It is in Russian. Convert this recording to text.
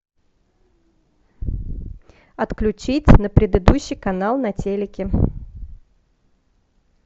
отключить на предыдущий канал на телике